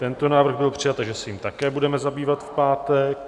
Tento návrh byl přijat, takže se jím také budeme zabývat v pátek.